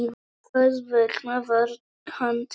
Þess vegna var hann tekinn.